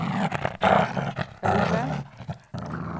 elve